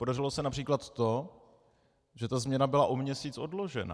Podařilo se například to, že ta změna byla o měsíc odložena.